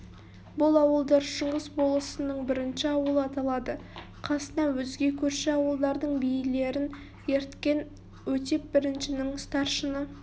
бұл ауылдар шыңғыс болысының бірінші ауылы аталады қасына өзге көрші ауылдардың билерін ерткен өтеп біріншінің старшыны